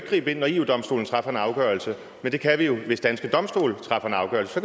gribe ind når eu domstolen træffer en afgørelse men det kan vi jo hvis danske domstole træffer en afgørelse så